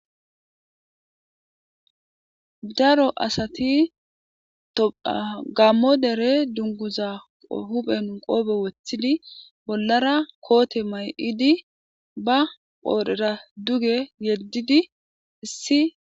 daro asati toa gammo dere dunguza huphen qoobo woththidi bollara koote may7idi ba qoodhera duge yeddidi issi